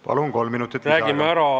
Palun, kolm minutit lisaaega!